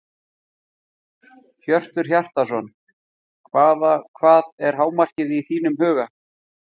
Hjörtur Hjartarson: Hvaða, hvað er hámarkið í þínum huga?